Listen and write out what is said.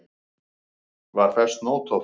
Var fest nót á þá.